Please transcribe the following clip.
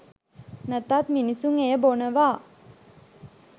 නැතත් මිනිසුන් එය බොනවා